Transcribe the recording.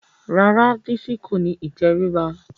Rárá Bísí kò ní ìtẹríba